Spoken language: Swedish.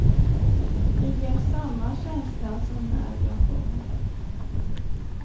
Det ger samma känsla som när jag sjunger.